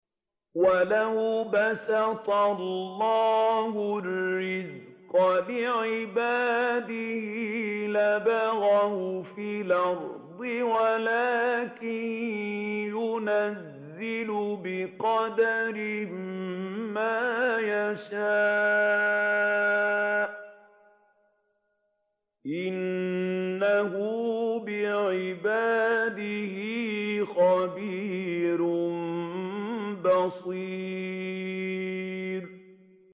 ۞ وَلَوْ بَسَطَ اللَّهُ الرِّزْقَ لِعِبَادِهِ لَبَغَوْا فِي الْأَرْضِ وَلَٰكِن يُنَزِّلُ بِقَدَرٍ مَّا يَشَاءُ ۚ إِنَّهُ بِعِبَادِهِ خَبِيرٌ بَصِيرٌ